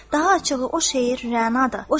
Daha açığı, o şeir Rənadır.